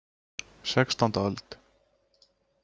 Sextánda öld.